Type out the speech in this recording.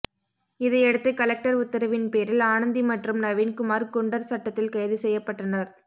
இதையடுத்து கலெக்டர் உத்தரவின் பேரில் ஆனந்தி மற்றும் நவீன்குமார் குண்டர் சட்டத்தில் கைது செய்யப்பட்டனர்